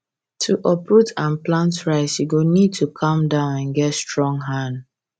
to uproot and plant rice you go need to calm down and get strong hand